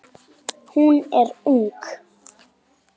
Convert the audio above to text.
Hún er ung.